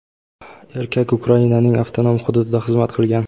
erkak Ukrainaning avtonom hududida xizmat qilgan.